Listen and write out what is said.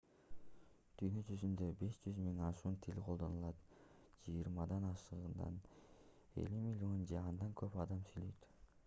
дүйнө жүзүндө 5000 ашуун тил колдонулат жыйырмадан ашыгында 50 миллион же андан көп адам сүйлөйт